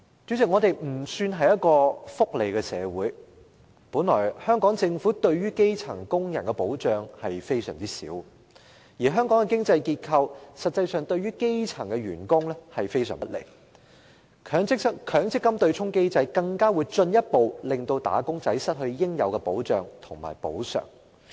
主席，香港算不上是福利社會，香港政府對基層工人的保障本來就很少，而香港的經濟結構實際上對基層員工也是非常不利，強積金對沖機制則進一步令"打工仔"失去應有的保障和補償。